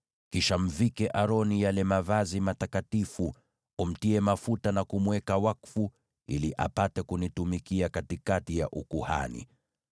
Kisha mvike Aroni yale mavazi matakatifu, umtie mafuta na kumweka wakfu ili apate kunitumikia katikati ya ukuhani.